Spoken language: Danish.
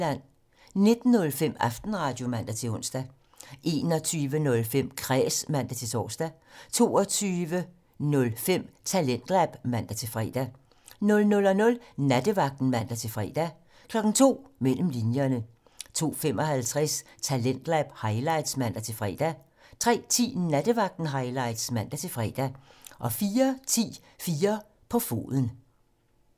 19:05: Aftenradio (man-ons) 21:05: Kræs (man-tor) 22:05: Talentlab (man-fre) 00:00: Nattevagten (man-fre) 02:00: Mellem linjerne 02:55: Talentlab highlights (man-fre) 03:10: Nattevagten Highlights (man-fre) 04:10: 4 på foden